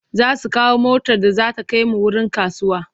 Za su kawo motar da za ta kai mu wurin rantsuwa.